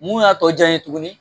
Mun y'a tɔ diya n ye tuguni